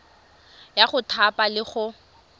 ya go thapa le go